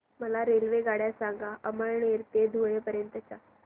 मला रेल्वेगाड्या सांगा अमळनेर ते धुळे पर्यंतच्या